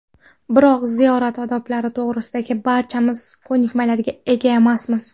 Biroq ziyorat odoblari to‘g‘risida barchamiz ko‘nikmalarga ega emasmiz.